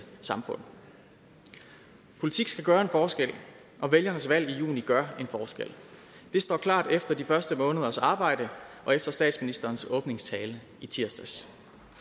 samfund politik skal gøre en forskel og vælgernes valg i juni gør en forskel det står klart efter de første måneders arbejde og efter statsministerens åbningstale i tirsdags